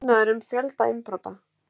Grunaður um fjölda innbrota